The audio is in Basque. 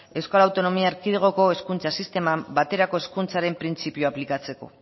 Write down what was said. euskal autonomia erkidegoko hezkuntza sisteman baterako hezkuntzaren printzipio aplikatzeko